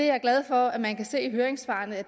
er glad for at man kan se i høringsvarene at